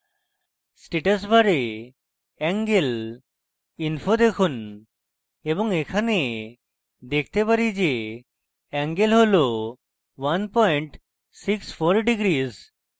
status bar angle info দেখুন এবং এখানে দেখতে পারি যে এঙ্গেল হল 164°